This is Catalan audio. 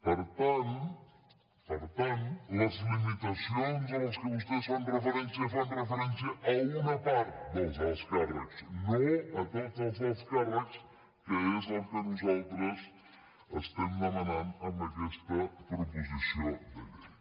per tant les limitacions a què vostès fan referència fan referència a una part dels alts càrrecs no a tots els alts càrrecs que és el que nosaltres estem demanant amb aquesta proposició de llei